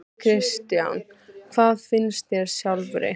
Kristján: Hvað finnst þér sjálfri?